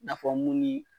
N'a fɔ mun ni